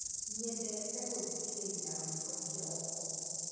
Nyendete gũthikĩrĩria rwĩmbo kĩroko